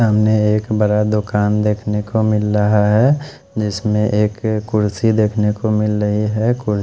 सामने एक बड़ा दुकान देखने को मिल रहा है जिसमें एक कुर्सी देखने को मिल रही है को--